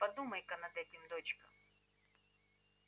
подумай-ка над этим дочка